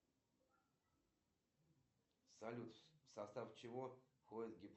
афина какие потребительские кредиты вы мне можете предложить